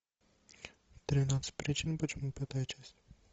тринадцать причин почему пятая часть